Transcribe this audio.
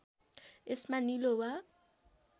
यसमा नीलो वा